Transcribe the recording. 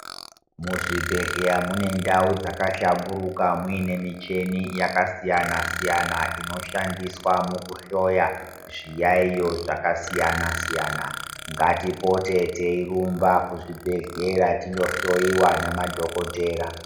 Muzvibhedhleya mune ndau dzakahlamburuka muine micheni yakasiyana siyana inoshandiswa mukuhloya zviyaiyo zvakasiyana siyana ngatipote teirumba kuzvibhedhlera tinohloyiwa ngemadhokodhera.